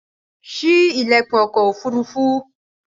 Sí ilẹkun ọkọ̀ ofurufu!